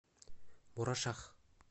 мурашах